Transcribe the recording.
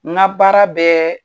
N ka baara bɛƐ